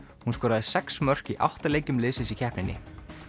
hún skoraði sex mörk í átta leikjum liðsins í keppninni